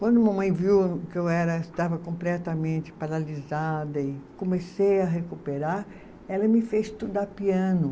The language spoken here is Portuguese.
Quando mamãe viu que eu era, estava completamente paralisada e comecei a recuperar, ela me fez estudar piano.